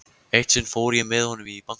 Eitt sinn fór ég með honum í banka.